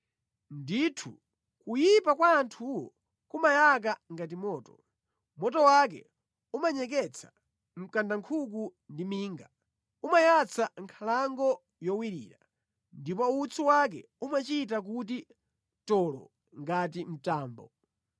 Ndithu kuyipa kwa anthuwo kumayaka ngati moto; moto wake umanyeketsa mkandankhuku ndi minga, umayatsa nkhalango yowirira, ndipo utsi wake umachita kuti toloo ngati mtambo.